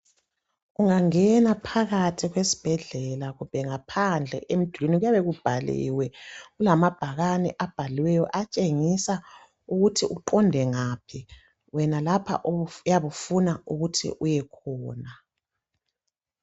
Ungangena phakathi kwesibhedlela kumbe ngaphandle empilo kuyabe kubhaliwe kulamabhakani abhaliweyo atshengisa ukuthi uqonde ngaphi wena lapha oyabe ufuna ukuthi uye khona